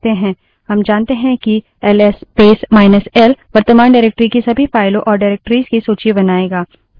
हम क्या कर सकते हैं हम जानते हैं कि L S space minus L ls space minus l वर्तमान डाइरेक्टरी की सभी फाइलों और डाइरेक्टरिस निर्देशिकाओं की सूची बनाएगा